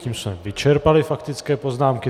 Tím jsme vyčerpali faktické poznámky.